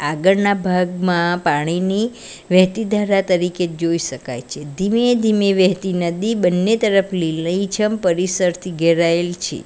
આગળના ભાગમાં પાણીની વહેતી ધારા તરીકે જોઈ શકાય છે ધીમે-ધીમે વહેતી નદી બંને તરફ લીલીછમ પરિસરથી ઘેરાયેલ છે.